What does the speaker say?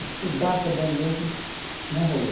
Estudar que é bom mesmo, não rolou.